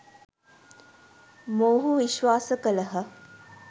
මොවුහු විශ්වාස කළහ.